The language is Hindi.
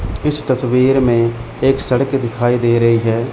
इस तस्वीर में एक सड़क दिखाई दे रही है।